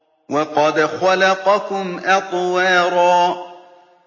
وَقَدْ خَلَقَكُمْ أَطْوَارًا